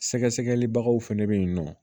Sɛgɛsɛgɛlibaw fɛnɛ bɛ yen nɔ